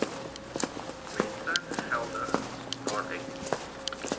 mense geldelik daaruit